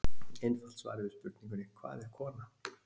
Einfalt svarið við spurningunni Hvað er kona?